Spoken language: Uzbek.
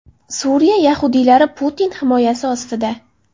Suriya yahudiylari Putin himoyasi ostida.